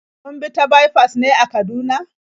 Kun bi ta baifas ne a Kaduna?